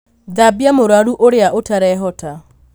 Thambia mũrwaru ũrĩa ũtarehota